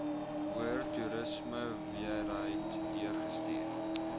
hoër toerismeowerheid deurgestuur